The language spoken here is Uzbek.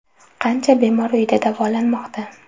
Qancha bemor uyida davolanmoqda?